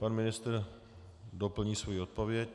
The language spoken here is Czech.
Pan ministr doplní svoji odpověď.